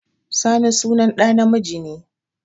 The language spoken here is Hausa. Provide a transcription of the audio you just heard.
Sani sunan ɗa namiji ne